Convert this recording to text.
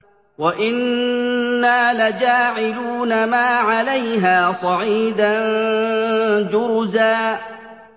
وَإِنَّا لَجَاعِلُونَ مَا عَلَيْهَا صَعِيدًا جُرُزًا